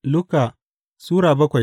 Luka Sura bakwai